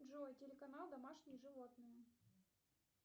джой телеканал домашние животные